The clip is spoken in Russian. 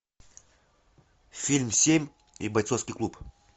фильм семь и бойцовский клуб